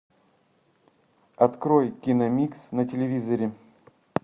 открой киномикс на телевизоре